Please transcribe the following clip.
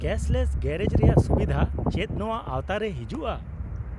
-Cashless garage ᱨᱮᱭᱟᱜ ᱥᱩᱵᱤᱫᱷᱟ ᱪᱮᱫ ᱱᱚᱣᱟ ᱟᱣᱛᱟ ᱨᱮ ᱦᱤᱡᱩᱜᱼᱟ ?